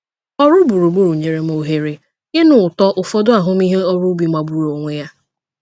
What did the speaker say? Ọrụ gburugburu nyere m ohere ịnụ ụtọ ụfọdụ ahụmịhe ọrụ ubi magburu onwe ya.